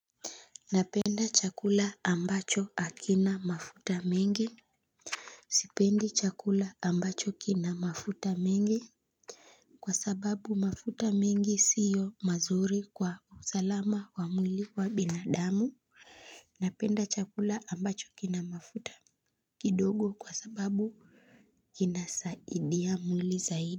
Napenda chakula ambacho hakina mafuta mengi. Sipendi chakula ambacho kina mafuta mengi kwa sababu mafuta mengi siyo mazuri kwa usalama wa mwili wa binadamu. Napenda chakula ambacho kina mafuta kidogo kwa sababu kinasaidia mwili zaidi.